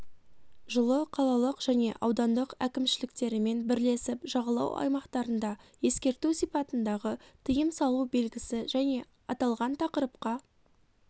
жылы қалалық және аудандық әкімшіліктерімен бірлесіп жағалау аймақтарында ескерту сипатындағы тыйым салу белгісі және аталған тақырыпқа